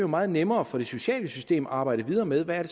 meget nemmere for det sociale system at arbejde videre med hvad